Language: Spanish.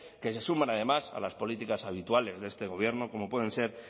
que se suman además a las políticas habituales de este gobierno como pueden ser